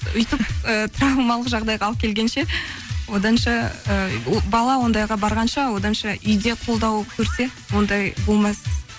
өйтіп ііі травмалық жағдайға алып келгенше оданша ы бала ондайға барғанша оданша үйде қолдау көрсе ондай болмас